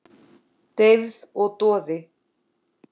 Deyfð og doði.